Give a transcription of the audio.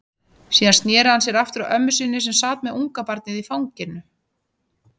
Síðan sneri hann sér aftur að ömmu sinni, sem sat með ungabarnið í fanginu.